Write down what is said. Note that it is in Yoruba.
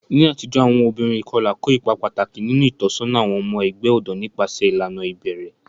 Ní àtijọ́, àwọn obìnrin ìkọlà kó ipa pàtàkì nínú ìtọ́sọ́nà àwọn ọmọ ẹgbẹ́ ọ̀dọ́ nípasẹ̀ ìlànà ìbẹ̀rẹ̀.